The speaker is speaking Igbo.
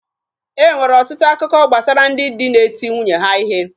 E nwere ọtụtụ akụkọ gbasara ndị di na-eti nwunye ha ihe.